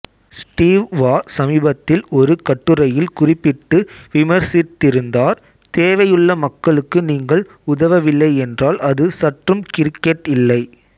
Steve Waugh சமீபத்தில் ஒருக் கட்டுரையில் குறிப்பிட்டு விமர்சித்திருந்தார் தேவையுள்ள மக்களுக்கு நீங்கள் உதவவில்லையென்றால் அது சற்றும் கிரிக்கெட் இல்லை